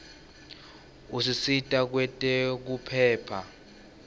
usita kwetekuphepha